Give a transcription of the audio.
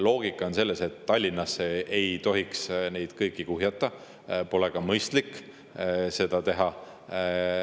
Loogika on selles, et Tallinnasse ei tohiks kõiki kuhjata, pole mõistlik seda teha.